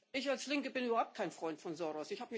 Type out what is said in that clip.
Ich als Linke bin überhaupt kein Freund von Soros.